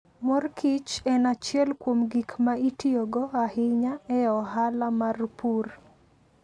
Mor kich en achiel kuom gik ma itiyogo ahinya e ohala mar pur.